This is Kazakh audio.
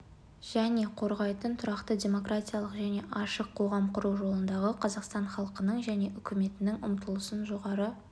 және қорғайтын тұрақты демократиялық және ашық қоғам құру жолындағы қазақстан халқының және үкіметінің ұмтылысын жоғары